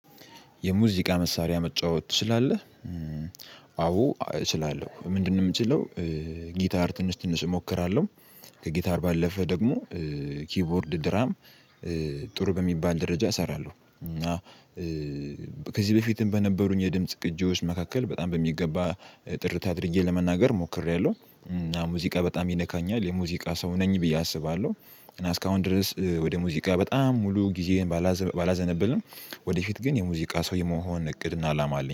የሙዚቃ መሳሪያ መጫወት ትችላለህ? አዎ እችላለሁ ምንድነው የምችለው? ጊታር ትንሽ ትንሽ እሞክራለሁ ከጊታር ባለፈ ደግሞ ኪቦርድ ድራም ጥሩ በሚባል ደረጃ እሰራለሁ። ከዚህ በፊትም በነበሩኝ የድምጽ ቅጂዎች መካከል በጣም በሚገባ ጥርት አድርጌ ለመናገር ሞክሬያለሁ እና ሙዚቃ በጣም ይነካኛል የሙዚቃ ሰው ነኝ ብዬ አስባለሁ። እና እስካሁን ድረስ ወደ ሙዚቃ በጣም ሙሉ ጊዜን ባላዘነብልም ወደፊት ግን የሙዚቃ ሰው የመሆን እቅድና አላማ አለኝ